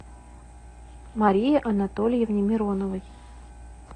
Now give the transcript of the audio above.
марии анатольевне мироновой